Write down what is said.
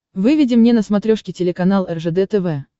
выведи мне на смотрешке телеканал ржд тв